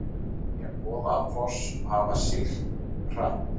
Segja Goðafoss hafa siglt hratt